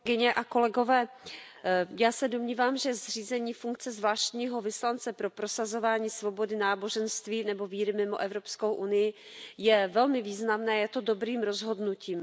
Paní předsedající, já se domnívám, že zřízení funkce zvláštního vyslance pro prosazování svobody náboženství nebo víry mimo Evropskou unii je velmi významné a je dobrým rozhodnutím.